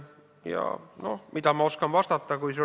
Ja mida ma oskan vastata?